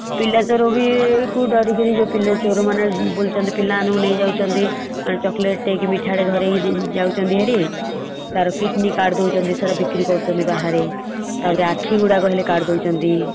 ପିଲା ଚୋର ବି ଚୋରମାନେ ବୁଲୁଚନ୍ତି ପିଲା ମାନଙ୍କୁ ନେଇଯାଉଚନ୍ତି chocolate ଟାଏ କି ମିଠା ଟେ ଧରେଇକି ଯାଉଛନ୍ତି ଭାରି ତାର କିଟିନୀ କାଟି ଦଉଛନ୍ତି ସେଗୋରା ବିକ୍ରି କରୁଛନ୍ତି ବାହାରେ । ତାପରେ ଆଖି ଗୁଡାକ ହେଲେ କାଢି ଦଉଛନ୍ତି ।